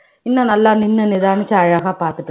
இன்னும் நல்லா நின்னு நிதானிச்சு அழகா பாத்துட்டு